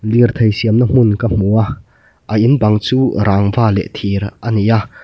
lirthei siamna hmun ka hmu a a in bang chu rangva leh thir a ni a.